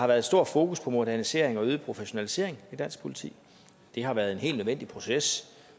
været stort fokus på modernisering og øget professionalisering i dansk politi det har været en helt nødvendig proces